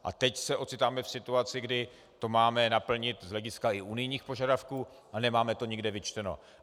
A teď se ocitáme v situaci, kdy to máme naplnit z hlediska i unijních požadavků, a nemáme to nikde vyčteno.